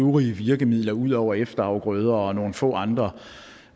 øvrige virkemidler ud over efterafgrøder og nogle få andre